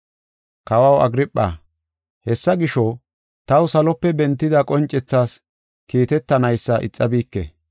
“Kawaw Agirpha, hessa gisho, taw salope bentida qoncethas kiitetanaysa ixabike.